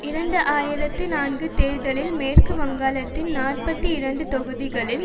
இரண்டு ஆயிரத்தி நான்கு தேர்தலில் மேற்கு வங்கத்தின் நாற்பத்தி இரண்டு தொகுதிகளில்